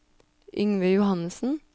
Yngve Johannessen